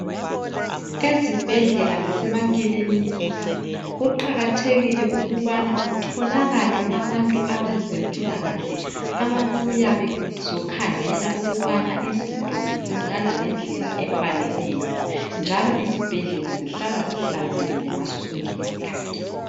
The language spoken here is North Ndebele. Ezibhedlela lasemaklinika kuqakathekile ukubana kutholakale abantu abezempilakahle ababuya bezokhangela ukubana izinto zenzakala ngendlela efaneleyo njalo izibhedlela zihlala zihlanzekile ngaso sonke isikhathi